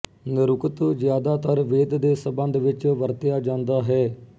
ਨਿਰੁਕਤ ਜ਼ਿਆਦਾਤਰ ਵੇਦ ਦੇ ਸੰਬੰਧ ਵਿੱਚ ਵਰਤਿਆ ਜਾਂਦਾ ਹੈ